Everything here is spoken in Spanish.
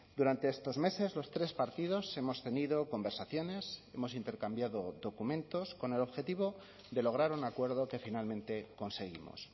durante estos meses los tres partidos hemos tenido conversaciones hemos intercambiado documentos con el objetivo de lograr un acuerdo que finalmente conseguimos